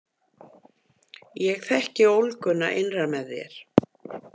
Ég þekki ólguna innra með þér.